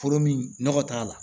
Foro min nɔgɔ t'a la